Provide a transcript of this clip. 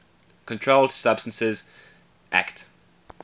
controlled substances acte